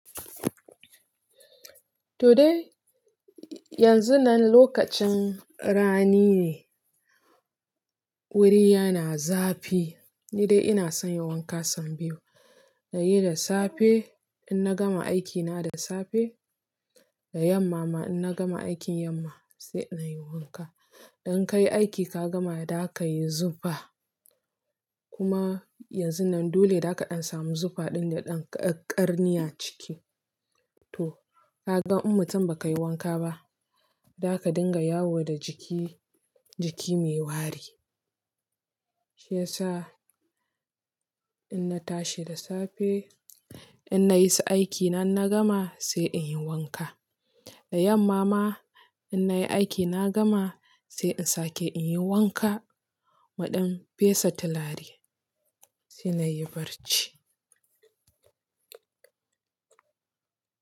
Today, yanzun nan lokacin rani ne, wuri yana zafi. Ni dai ina son yi wanka so biyu, na yi da safe in na gama aikina da safe, da yamma ma in na gama aikin yamma sai na yi wanka. Idan ka yi aiki ka gama, da ka yi zufa kuma yanzun nan dole za ka samu zufa ɗaya da ƙarni a ciki. To ka gan in mutum ba ka yi wanka ba, za ka dinga yawo da jiki, jiki mai wari. Shi yasa in na tashi da safe in na yi su aikina na gama sai in yi wanka. Da yamma ma in na yi aikina gama sai in sake in yi wanka naɗam fesa tilari sai na yi barci.